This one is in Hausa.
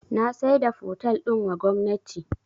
Na saida fotel din wa gwamnati